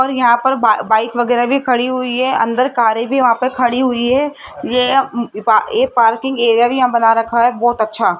और यहां पर बा बाइक वगैरा भी खड़ी हुई है अंदर कारे भी वहां पे खड़ी हुई है ये पा ये पार्किंग एरिया भी यहां बना रखा है बहोत अच्छा --